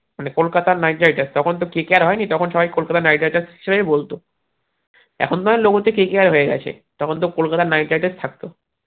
মানে Kolkata Knight Riders তখন তো KKR হয়নি তখন সবাই কলকাতা নাইট রাইডার্স হিসেবেই বলতো এখন তো আবার লোগো তে KKR হয়েগেছে তখন তো কলকাতা নাইট রাইডার্স বলতো